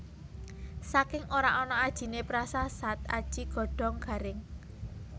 Saking ora ana ajiné prasasat aji godhong garing